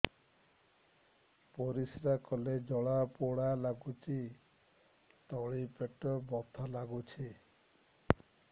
ପରିଶ୍ରା କଲେ ଜଳା ପୋଡା ଲାଗୁଚି ତଳି ପେଟ ବଥା ଲାଗୁଛି